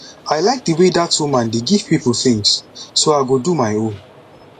i like the way dat woman dey give people things so i go do my own